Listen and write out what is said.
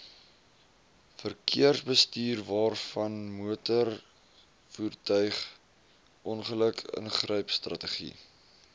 verkeersbestuurwaarvanmotorvoertuig ongeluk ingrypstrategie